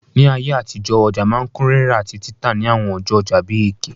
Ní ayé àtijọ́, ọja ma n kun rírà àtí títà ni àwon ọjọ́ ojà bi Eke